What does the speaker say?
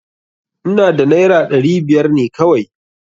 Ina da naira ɗari biyar ne kawai.